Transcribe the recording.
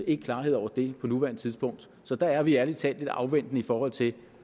ikke klarhed over det på nuværende tidspunkt så der er vi ærlig talt lidt afventende i forhold til